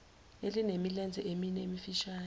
elinemilenze emine emifishane